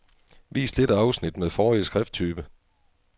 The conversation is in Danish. Vis dette afsnit med forrige skrifttype.